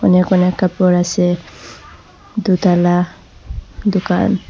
অনেক অনেক কাপড় আসে দুতলা দুকান।